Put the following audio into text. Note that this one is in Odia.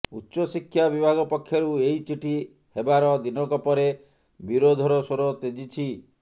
ଉଚ୍ଚ ଶିକ୍ଷା ବିଭାଗ ପକ୍ଷରୁ ଏହି ଚିଠି ହେବାର ଦିନକ ପରେ ବିରୋଧର ସ୍ୱର ତେଜିଛି